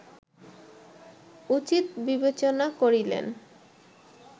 উচিত বিবেচনা করিলেন